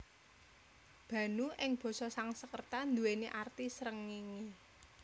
Bhanu ing basa Sangskerta anduwèni arti srengéngé